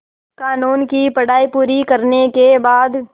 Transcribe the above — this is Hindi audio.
क़ानून की पढा़ई पूरी करने के बाद